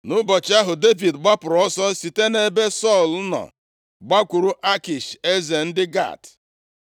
Nʼụbọchị ahụ, Devid gbapụrụ ọsọ site nʼebe Sọl nọ gbakwuru Akish eze ndị Gat.